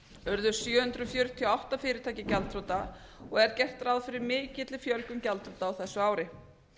urðu sjö hundruð fjörutíu og átta fyrirtæki gjaldþrota og er gert ráð fyrir mikilli fjölgun gjaldþrota á þessu ári